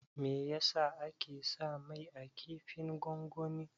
Meyasa ake sa mai a kifin gongoni?